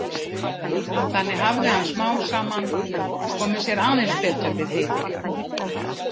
Þannig hafði hann smám saman komið sér aðeins betur við Heiði.